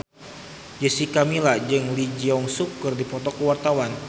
Jessica Milla jeung Lee Jeong Suk keur dipoto ku wartawan